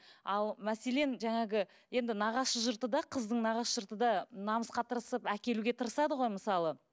ал мәселен жаңағы енді нағашы жұрты да қыздың нағашы жұрты да намысқа тырысып әкелуге тырысады ғой мысалы